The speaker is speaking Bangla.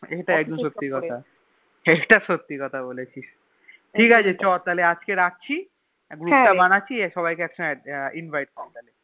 ইটা একদম সত্যি কথা ইটা সত্যি কথা বলেছিস ঠিকাছে ছ তাহলে আজকে রাখছি Group তা বানাচ্ছি সবাই কে একসাথে Invite কর তাহলে